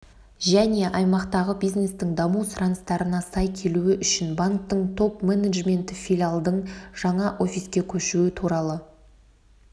және аймақтағы бизнестің даму сұраныстарына сай келуі үшін банктің топ-менеджменті филиалдың жаңа офиске көшуі туралы